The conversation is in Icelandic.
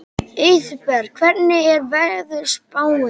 Auðberg, hvernig er veðurspáin?